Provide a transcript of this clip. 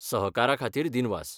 सहकाराखातीर दीनवास.